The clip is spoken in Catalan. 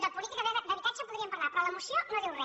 de política d’habitatge en podríem parlar però la moció no diu re